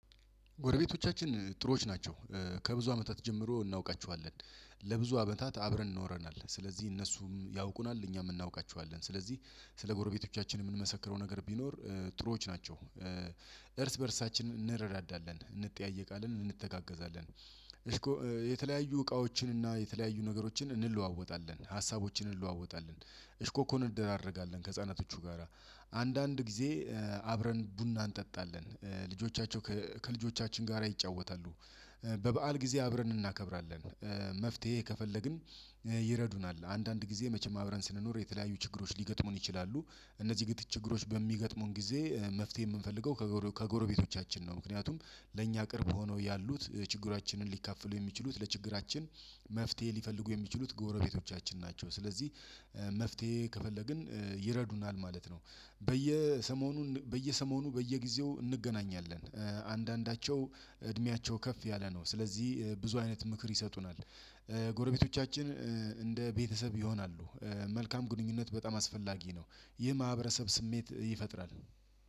ጎረቤቶቻችን ጥሩዎች ናቸው። ከብዙ አመታት ጀምሮ እናውቃቸዋለን። ለብዙ አመታት አብረን ኖረናል ስለዚህ እነሱም ያውቁናል እኛም እናውቃቸዋለን ስለዚህ ስለ ጎረቤቶቻችን የምንመሰክረው ነገር ቢኖር ጥሩዎች ናቸው። እርስ በእርሳችን እንረዳዳለን እንጠያየ ቃልን እንተጋገዛለን እስኮ የተለያዩ እቃዎችን እና የተለያዩ ነገሮችን እንለዋወጣለን ሀሳቦችን እንለዋወጣለን እሽኮኮን እንደራረጋለን ከህፃናቶቹ ጋራ። አንዳንድ ጊዜ አብረን ቡና እንጠጣለን። ልጆቻቸው ከልጆቻችን ጋራ ይጫወታሉ። በበዓል ጊዜ አብረን እናከብራለን። መፍትሄ ከፈለግን ይረዱናል። አንዳንድ ጊዜ መቼም አብረን ስንኖር የተለያዩ ችግሮች ሊገጥሙን ይችላሉ። እነዚህ ግድ ችግሮች በሚገጥሙን ጊዜ መፍትሄ የምንፈልገው ከጎረቤቶቻችን ነው። ምክንያቱም ለእኛ ቅርብ ሆነው ያሉት ችግራችንን ሊካፈሉ የሚችሉት ለችግራችን መፍትሄ ሊፈልጉ የሚችሉት ጎረቤቶቻችን ናቸው። ስለዚህ መፍትሄ ከፈለግን ይረዱናል ማለት ነው። በየሰሞኑ በየሰሞኑ በየጊዜው እንገናኛለን። አንዳንዳቸው እድሜያቸው ከፍ ያለ ነው ስለዚህ ብዙ አይነት ምክር ይሰጡናል። ጎረቤቶቻችን እንደ ቤተሰብ ይሆናሉ። መልካም ግንኙነት በጣም አስፈላጊ ነው። ይህ ማህበረሰብ ስሜት ይፈጥራል።